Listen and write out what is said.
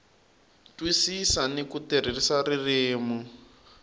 twisisa ni ku tirhisa ririmi